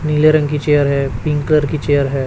नीले रंग की चेयर है पिंक कलर की चेयर है।